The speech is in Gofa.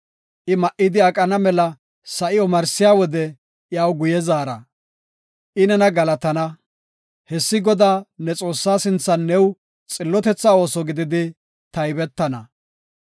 I ma7idi aqana mela sa7i omarsiya wode iyaw guye zaara; I nena galatana. Hessi Godaa ne Xoossaa sinthan new xillotetha ooso gididi taybetana.